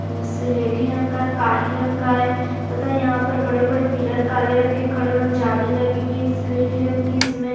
उजो सिलेटी रंग का काही रंग का है तथा यहाँ पर बड़े -बड़े पिलर काले रंग के खड़े हुए है जाली लगी हुई है सिलेटी रंग की इसमें।